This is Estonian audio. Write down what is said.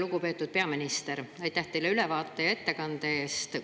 Lugupeetud peaminister, aitäh teile ülevaate ja ettekande eest!